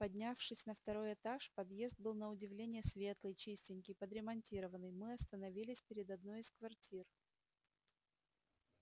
поднявшись на второй этаж подъезд был на удивление светлый чистенький подремонтированный мы остановились перед одной из квартир